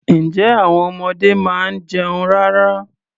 Ǹjẹ́ àwon ọmọdé máa ń jẹun rárá?